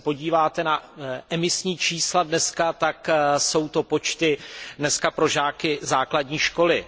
Když se podíváte na emisní čísla dnes, tak jsou to počty pro žáky základní školy.